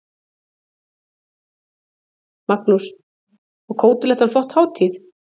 Magnús: Og Kótelettan flott hátíð?